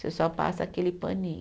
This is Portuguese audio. Você só passa aquele paninho.